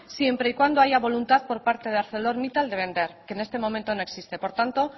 siempre y cuando haya voluntad por parte de arcelormittal de vender que en este momento no existe por tanto